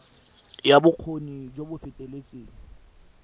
ya bokgoni jo bo feteletseng